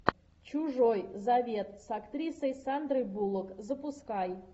чужой завет с актрисой сандрой буллок запускай